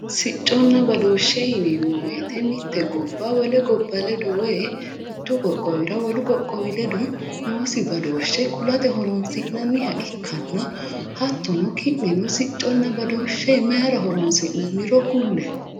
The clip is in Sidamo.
sicconna badooshshe yineemmo wote mitte gobba wole gobba ledo woyi mittu qoqowira wolu qoqowi ledo noosi badooshshe kulate horonsi'nanniha ikkanna hattono ki'neno sicconna badooshshe mayiira horonsi'nanniro kulle.